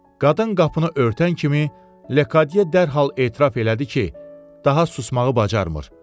Qadın qapını örtən kimi Lekadye dərhal etiraf elədi ki, daha susmağı bacarmır.